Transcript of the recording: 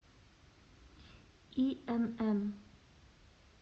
инн